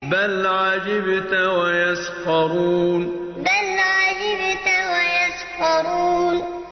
بَلْ عَجِبْتَ وَيَسْخَرُونَ بَلْ عَجِبْتَ وَيَسْخَرُونَ